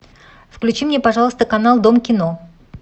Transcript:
включи мне пожалуйста канал дом кино